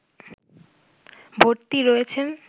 ভর্তি রয়েছেন